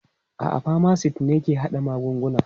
A'a, pharmacists ne ke haɗa magungunana.